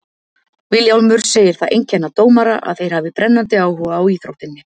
Vilhjálmur segir það einkenna dómara að þeir hafi brennandi áhuga á íþróttinni.